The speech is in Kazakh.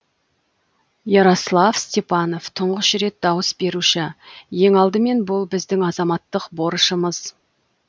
ярослав степанов тұңғыш рет дауыс беруші ең алдымен бұл біздің азаматтық борышымыз